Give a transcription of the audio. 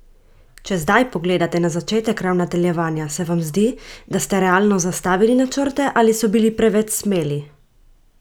Če zdaj pogledate na začetek ravnateljevanja, se vam zdi, da ste realno zastavili načrte ali so bili preveč smeli?